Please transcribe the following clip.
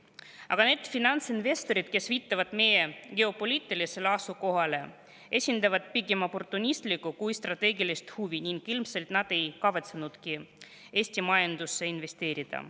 Aga need finantsinvestorid, kes viitavad meie geopoliitilisele asukohale, esindavad pigem oportunistlikku kui strateegilist huvi ning ilmselt nad ei kavatsenudki Eesti majandusse investeerida.